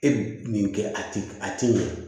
E min kɛ a ti a ti ɲɛ